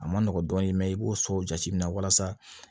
A ma nɔgɔn dɔɔnin mɛn i b'o so jate minɛ walasa